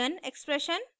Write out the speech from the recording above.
ruby code